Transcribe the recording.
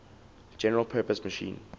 general purpose machine